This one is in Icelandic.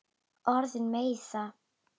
Orðin meiða.